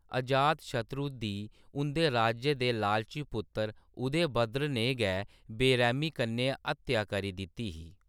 अजातशत्रु दी, उं'दे राज्य दे लालची पुत्तर उदयभद्र ने गै बेरैह्‌मी कन्नै हत्या करी दित्ती ही।